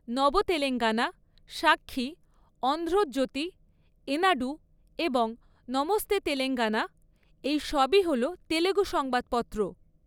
নব তেলেঙ্গানা, সাক্ষী, অন্ধ্র জ্যোতি, এনাডু এবং নমস্তে তেলেঙ্গানা, এই সবই হল তেলুগু সংবাদপত্র।